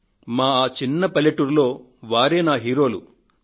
మా ఆ చిన్న పల్లెటూర్లో వారే నా కథానాయకులు